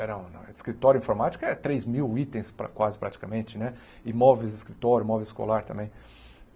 Era um escritório de informática, três mil itens, pa quase praticamente né, e móveis de escritório, móveis escolar também.